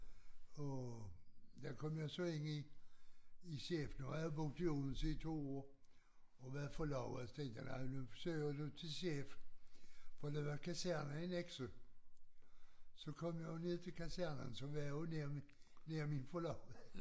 Og der kom jeg så ind i i skifte nu havde jeg boet i Odense i 2 år og været forlovet så tænkte jeg nej nu søger jeg til skifte for der var kaserne i Nexø så kom jeg jo ned til kasernen så var jeg jo nær min nær min forlovede